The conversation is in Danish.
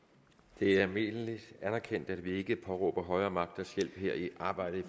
det er almindeligt anerkendt at vi ikke påberåber os højere magters hjælp her i arbejdet i